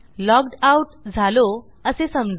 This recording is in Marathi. लॉग्ड आउट झालो असे समजू